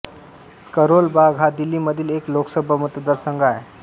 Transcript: करोल बाग हा दिल्लीमधील एक लोकसभा मतदारसंघ आहे